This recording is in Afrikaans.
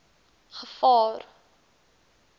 gevaar